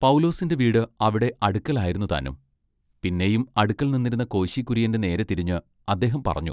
പൗലോസിന്റെ വീട് അവിടെ അടുക്കലായിരുന്നു താനും പിന്നെയും അടുക്കൽ നിന്നിരുന്ന കോശി കുര്യന്റെ നേരെ തിരിഞ്ഞ് അദ്ദേഹം പറഞ്ഞു.